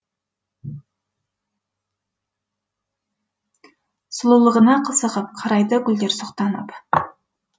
сұлулығыңа қызығып қарайды гүлдер сұқтанып